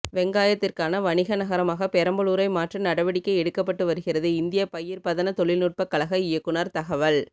வெங்காயத்திற்கான வணிக நகரமாக பெரம்பலூரை மாற்ற நடவடிக்கை எடுக்கப்பட்டு வருகிறது இந்திய பயிர் பதன தொழில்நுட்ப கழக இயக்குனர் தகவல்